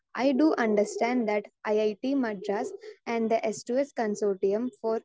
speaker 2 I to understand that I I T Madras and the S to S consortium four